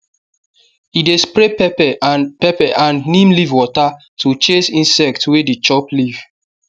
e dey spray pepper and pepper and neem leaf water to chase insect wey dey chop leaf